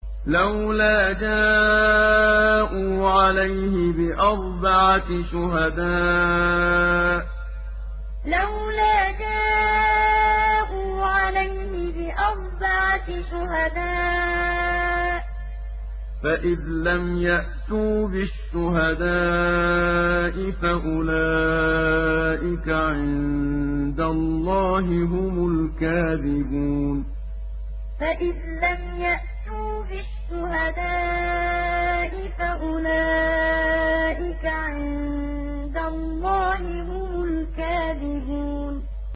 لَّوْلَا جَاءُوا عَلَيْهِ بِأَرْبَعَةِ شُهَدَاءَ ۚ فَإِذْ لَمْ يَأْتُوا بِالشُّهَدَاءِ فَأُولَٰئِكَ عِندَ اللَّهِ هُمُ الْكَاذِبُونَ لَّوْلَا جَاءُوا عَلَيْهِ بِأَرْبَعَةِ شُهَدَاءَ ۚ فَإِذْ لَمْ يَأْتُوا بِالشُّهَدَاءِ فَأُولَٰئِكَ عِندَ اللَّهِ هُمُ الْكَاذِبُونَ